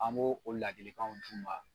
An b'o o ladilikanw d'u ma